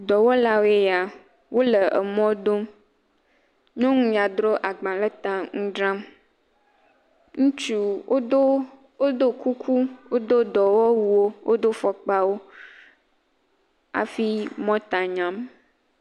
Dɔwɔlawoe ya. Wole emɔ dom. Nyɔnu ya dro agba le ta ŋu dzram. Ŋutsu wodo, wodo kuku, wodo dɔwɔwuwo, wodo fɔkpawo afi mɔta nyam.